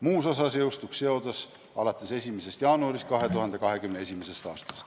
Muus osas jõustuks seadus alates 1. jaanuarist 2021. aastast.